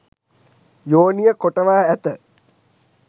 යෝනිය කොටවා ඇත